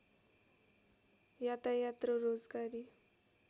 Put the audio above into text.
यातायात र रोजगारी